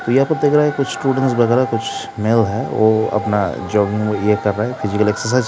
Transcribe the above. कुछ स्टूडेंट वगैरह कुछ मेल है वो अपना जॉगिंग फिजकल एक्सरसाइज --